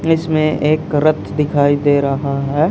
इसमें एक रथ दिखाई दे रहा है।